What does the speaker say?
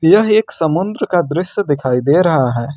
यह एक समुंद्र का दृश्य दिखाई दे रहा है।